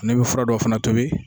Nin bɛ fura dɔw fana tobi.